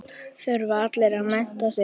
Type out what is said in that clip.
Þurfa allir að mennta sig?